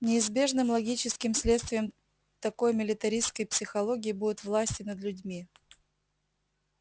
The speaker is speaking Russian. неизбежным логическим следствием такой милитаристской психологии будет власть и над людьми